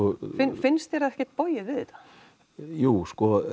finnst þér ekkert bogið við þetta jú sko